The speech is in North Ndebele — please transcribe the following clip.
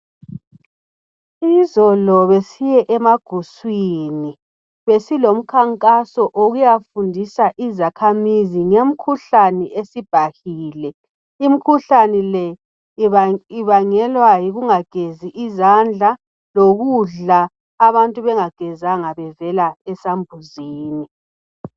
Izolo besiye emaguswinj. Besilo mkhankaso okuyafundisa izakhamizi ngemikhuhlane esibhahile. Imikhuhlane le ibangelwa yikungagezi izandla lokudla abantu bengagezanga bevela esakbuzini.